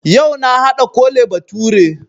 Yau na haɗa Kole bature